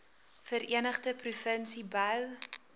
verenigde provinsie bou